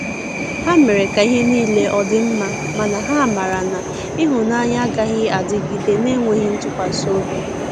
Ha mere ka ihe nile ọdi mma, mana ha mara na ihunanya agaghi adịgide n'enweghi ntụkwasi ọbị.